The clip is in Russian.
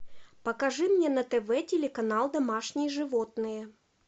покажи мне на тв телеканал домашние животные